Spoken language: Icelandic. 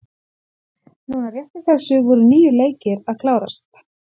Núna rétt í þessu voru níu leikir að klárast.